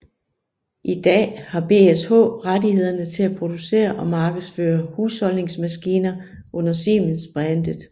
I dag har BSH rettighederne til at producere og markedsføre husholdningsmaskiner under Siemens brandet